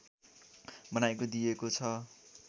बनाएको दिइएको छ